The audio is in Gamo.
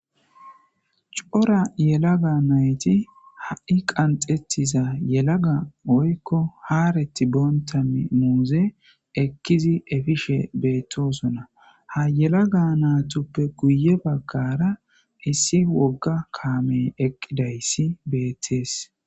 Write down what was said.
cora yelaga nayti ha'i qanxetiza yelaga oykko haareti boontami muuze ekkizi efishe beettosona ha yelaga naatuppe guye bagara issi wogga kaamey eqqidayssi beettees